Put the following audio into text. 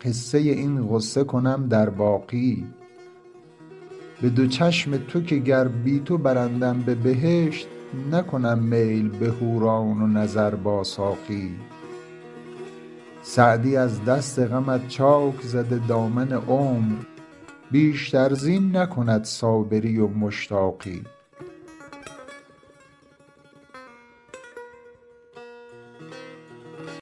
قصه این غصه کنم در باقی به دو چشم تو که گر بی تو برندم به بهشت نکنم میل به حوران و نظر با ساقی سعدی از دست غمت چاک زده دامن عمر بیشتر زین نکند صابری و مشتاقی